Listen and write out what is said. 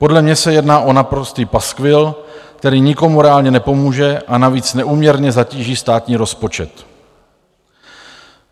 Podle mě se jedná o naprostý paskvil, který nikomu reálně nepomůže, a navíc neúměrně zatíží státní rozpočet.